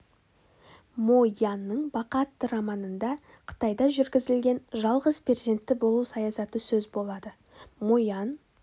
мо янның бақа атты романында қытайда жүргізілген жалғыз перзентті болу саясаты сөз болады мо ян